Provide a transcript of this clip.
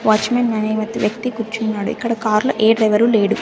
Watch Maan అనే ఒక వ్యక్తి కుర్చున్నాడు ఇక్కడ కార్లో ఏ డ్రైవరు లేడు.